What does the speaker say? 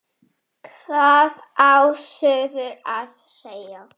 Hvað á suður að segja?